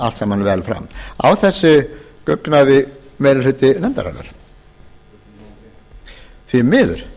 allt saman þarna vel fram á þessu guggnaði meiri hluti nefndarinnar því miður